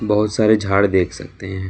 बहुत सारे झाड़ देख सकते हैं।